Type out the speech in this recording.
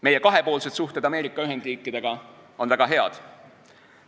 Meie kahepoolsed suhted Ameerika Ühendriikidega on väga head.